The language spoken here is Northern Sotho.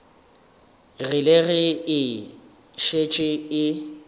rile ge e šetše e